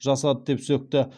жасады деп сөкті